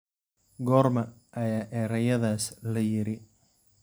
Goorma ayaa erayadaas la yiri?